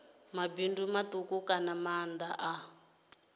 mabindu matuku kana maanda a